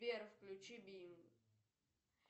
сбер включи бин